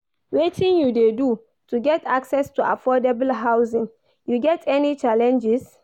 Wetin you dey do to get access to affordable housing, you get any challenges.